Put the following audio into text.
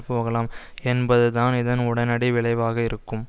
போகலாம் என்பது தான் இதன் உடனடி விளைவாக இருக்கும்